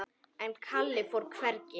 En Kalli fór hvergi.